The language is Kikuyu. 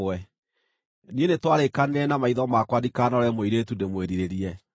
“Niĩ nĩtwarĩĩkanĩire na maitho makwa ndikanarore mũirĩtu ndĩmwĩrirĩrie.